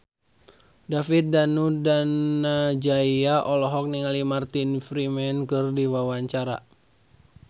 David Danu Danangjaya olohok ningali Martin Freeman keur diwawancara